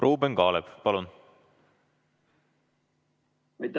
Ruuben Kaalep, palun!